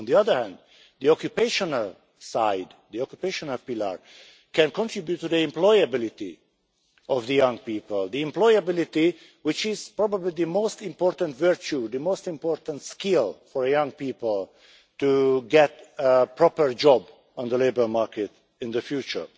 On the other hand the occupational side, the occupation pillar, can contribute to the employability of young people, the employability which is probably the most important virtue, the most important skill, for young people to get a proper job on the labour market in the future.